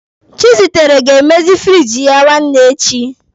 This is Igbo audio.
Chizitere ga-emezi firiji ya nwanne echi.